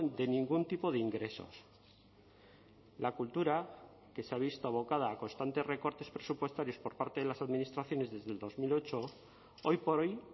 de ningún tipo de ingresos la cultura que se ha visto abocada a constantes recortes presupuestarios por parte de las administraciones desde el dos mil ocho hoy por hoy